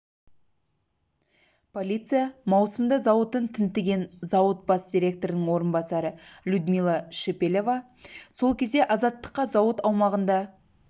полиция маусымда зауытын тінтіген зауыт бас директорының орынбасары людмила шепелева сол кезде азаттыққа зауыт аумағында